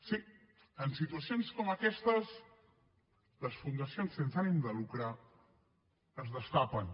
sí en situacions com aquestes les fundacions sense ànim de lucre es destapen